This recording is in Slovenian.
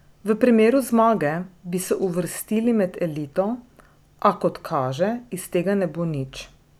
V primeru zmage bi se uvrstili med elito, a, kot kaže, iz tega ne bo nič.